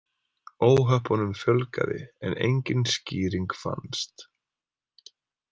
Óhöppunum fjölgaði en engin skýring fannst.